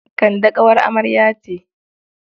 Kande ƙawar amarya ce.